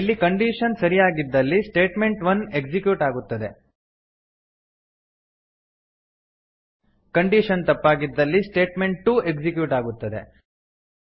ಇಲ್ಲಿ ಕಂಡೀಶನ್ ಸರಿಯಾಗಿದ್ದಲ್ಲಿ statement1ಎಕ್ಸಿಕ್ಯೂಟ್ ಆಗುತ್ತದೆ ಕಂಡೀಶನ್ ತಪ್ಪಾಗಿದ್ದಲ್ಲಿ ಸ್ಟೇಟ್ಮೆಂಟ್ ಟು ಎಕ್ಸಿಕ್ಯೂಟ್ ಆಗುತ್ತದೆ